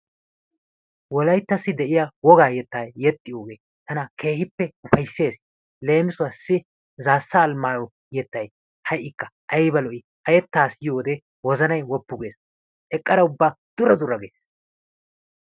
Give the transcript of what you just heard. Wolayttassi de'iya wogaa yettaa yexxiyogee tana keehippe ufayssees. Leemissuwaassi Zaassa Almayo yettay ha''ikka aybba lo'i yettaa ezggiyode wozanay woppu gees. Eqqara ubba dura dura gees.